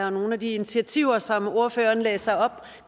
og nogle af de initiativer som ordføreren læser op